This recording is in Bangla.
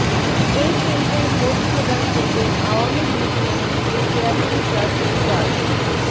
এই কেন্দ্রেই ভোট প্রদান করবেন আওয়ামী লীগ মনোনীত চেয়ারম্যান প্রার্থী ডা